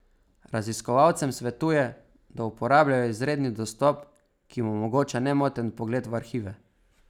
Raziskovalcem svetuje, da uporabljajo izredni dostop, ki jim omogoča nemoten vpogled v arhive.